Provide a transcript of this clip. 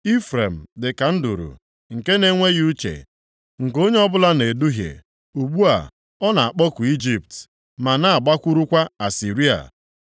“Ifrem dịka nduru nke na-enweghị uche, nke onye ọbụla na-eduhie, ugbu a, ọ na-akpọku Ijipt, ma na-agbakwurukwa Asịrịa.